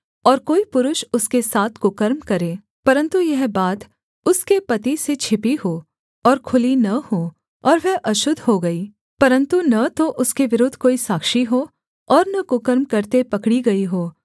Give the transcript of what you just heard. और कोई पुरुष उसके साथ कुकर्म करे परन्तु यह बात उसके पति से छिपी हो और खुली न हो और वह अशुद्ध हो गई परन्तु न तो उसके विरुद्ध कोई साक्षी हो और न कुकर्म करते पकड़ी गई हो